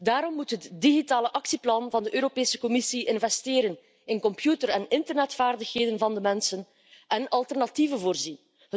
Daarom moet het digitale actieplan van de Europese Commissie investeren in computer een internetvaardigheden van de mensen en in alternatieven voorzien.